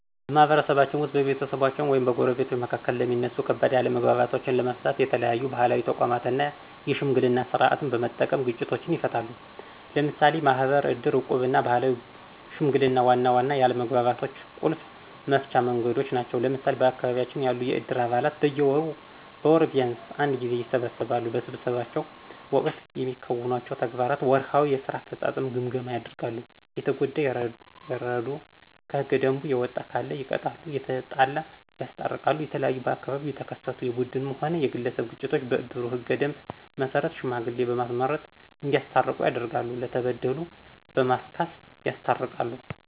በማህበረሰባችን ውስጥ በቤተሰቦች ወይም በጎረቤቶች መካከል የሚነሱ ከባድ አለመግባባቶችንለመፍታተት የተለያዩ ባህላዊ ተቋማትን እና የሽምግልና ስርዓትን በመጠቀም ግጭቶችን ይፈታሉ። ለምሳሌ ማህበር፣ ዕድር፣ ዕቁብና ባህላዊ ሽምግልና ዋና ዋና የአለመግባባቶች ቁልፍ መፍቻ መንገዶች ናቸው። ለምሳሌ በአካባቢያችን ያሉ የዕድር አባላት በየወሩ ወይም በወር ቢንስ አንድ ጊዜ ይሰበሰባሉ። በስብሰባቸው ወቅት የሚከውኗቸው ተግባራት ወርሃዊ የስራ አፈጻጸም ግምገማ ያደርጋሉ፣ የተጎዳ ይረዱ፣ ከህገ ደንቡ የወጣ ካለ ይቀጣሉ፣ የተጣላ ያስታርቃሉ። የተለያዩ በአካባቢው የተከሰቱ የቡድንም ሆነ የግለሰብ ግጭቶችን በእድሩ ህገ ደንብ መሰረት ሽማግሌ በማስመረጥ እዲያስታርቁ ያደርጋሉ፣ ለተበደሉ በማስካስ ያስታርቃሉ።